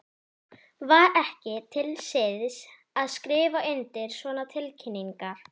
Var ekki til siðs að skrifa undir svona tilkynningar?